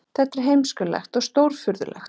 Þetta er heimskulegt og stórfurðulegt